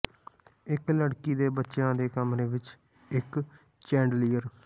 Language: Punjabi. ਇੱਕ ਲੜਕੀ ਦੇ ਬੱਚਿਆਂ ਦੇ ਕਮਰੇ ਵਿੱਚ ਇੱਕ ਚੈਂਡੀਲੀਅਰ